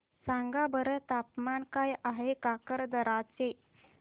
सांगा बरं तापमान काय आहे काकरदरा चे